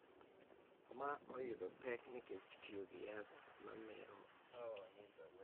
Ma oyudo pek nikech tiyo gi yath ma mero ji.